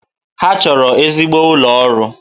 Ha chọrọ ezigbo ụlọ ọrụ